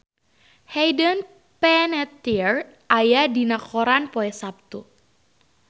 Hayden Panettiere aya dina koran poe Saptu